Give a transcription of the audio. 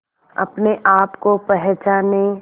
अपने आप को पहचाने